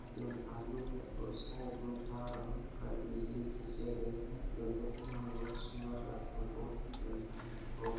यहां पे बालू हैं और साइड में टावर बनाकर बिजली खींचे गए हैं ये देखने में बहुत ही सुंदर लगता है बहुत ही बढ़िया हैबहुत---